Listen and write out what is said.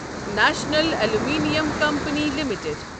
national Aluminium Company limited